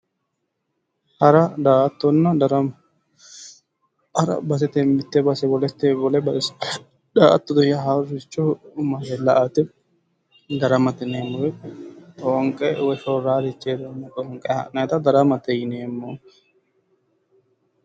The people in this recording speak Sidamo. Hara daa'attonna darama. Hara basetenni wole base . Daa'attote yaa haaroricho la'ate. Daramate yineemmo woyite xoonqe woyi shorrarichi heereenna xoonqe ha'nayita daramate yineemmo.